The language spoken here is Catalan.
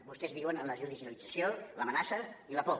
vostès viuen en la judicialització l’amenaça i la por